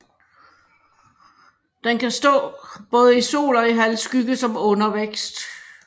Den kan stå både i sol og i halvskygge som undervækst